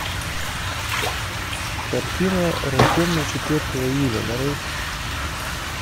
картина рожденный четвертого июля нарой